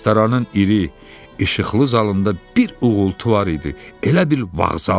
Restoranın iri, işıqlı zalında bir uğultu var idi, elə bil vağzaldı.